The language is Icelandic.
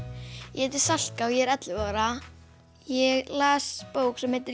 ég heiti Salka og ég er ellefu ára ég las bók sem heitir